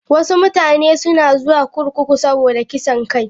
Wasu mutane suna zuwa kurkuku saboda kisan kai.